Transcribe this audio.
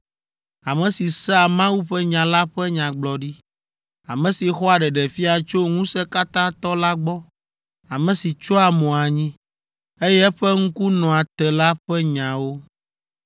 ame si sea Mawu ƒe nya la ƒe nyagblɔɖi, ame si xɔa ɖeɖefia tso Ŋusẽkatãtɔ la gbɔ, ame si tsyɔa mo anyi, eye eƒe ŋku nɔa te la ƒe nyawo.